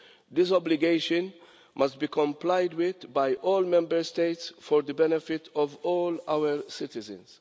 This obligation must be complied with by all Member States for the benefit of all our citizens.